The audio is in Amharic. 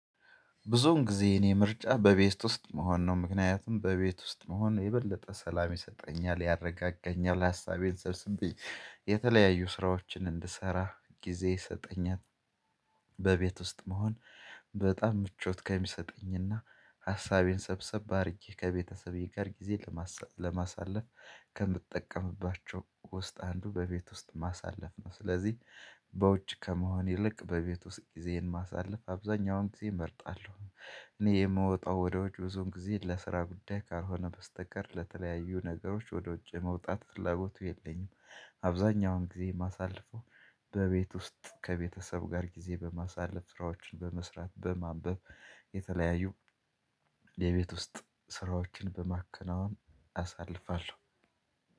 ብዙውን ጊዜ የኔ ምርጫ በቤት ውስጥ መሆን ነው ምክንያቱም በቤት ውስጥ መሆን የበለጠ ሰላም ይሰጠኛል ያረጋጋኛል ሀሳቤን ሰብስቤ የተለያዩ ስራዎችን እንድሰራ ጊዜ ይሰጠኛል። ውስጥ መሆን በጣም ምቾት ከሚሰጠኝና ሀሳቤን ሰብሰብ አድርጌ ከቤተሰቤ ጋር ጊዜ ለማሳለ ለማሳለፍ ከምጠቀምባቸው ውስጥ አንዱ በቤት ውስጥ ማሳለፍ ነው። ስለዚህ በውጭ ከመሆን ይልቅ በቤት ውስጥ ጊዜዬን ማሳለፍ አብዛኛውን ጊዜ እመርጣለሁ። እኔ የምወጣው ወደ ውጭ ብዙዉን ጊዜ ለስራ ጉዳይ ካልሆነ በስተቀር ለተለያዩ ነገሮች ወደ ውጭ መውጣት ፍላጎቱ የለኝም። አብዛኛውን ጊዜ ማሳለፈው በቤት ውስጥ ከቤተሰብ ጋር ጊዜ በማሳለፍ ስራዎችን በመስራት በማንበብ የተለያዩ የቤት ውስጥ ስራዎችን በማከናወን አሳልፋለሁ